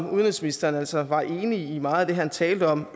udenrigsministrene altså var enig i meget af det han talte om